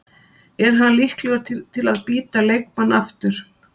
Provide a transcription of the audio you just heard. Er hann líklegur til að bíta leikmann aftur?